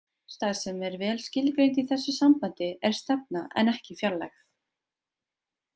Stærð sem er vel skilgreind í þessu sambandi er stefna en ekki fjarlægð.